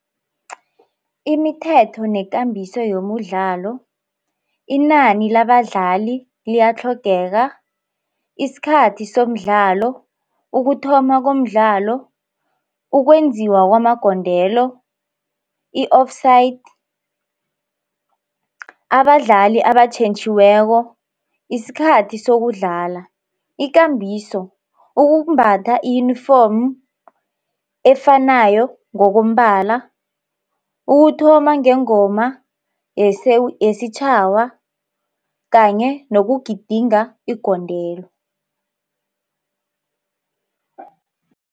Imithetho nekambiso yomudlalo, inani labadlali liyatlhogeka, isikhathi somdlalo, ukuthoma komdlalo, ukwenziwa kwamagondelo, i-offside, abadlali abatjhentjhiweko, isikhathi sokudlala, ikambiso, ukumbatha iyunifomu efanayo ngokombala, ukuthoma ngengoma yesitjhawa kanye nokugidinga igondelo.